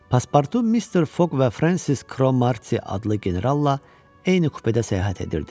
Paspartu, Mister Foq və Frensis Kromarti adlı generalla eyni kupedə səyahət edirdi.